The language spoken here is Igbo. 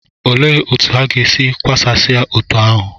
Olee otú ha ga-esi kewasịa otú ahụ?